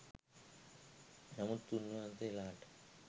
නමුත් උන්වහන්සේලාට